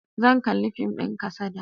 Zan kalli fim din kasada.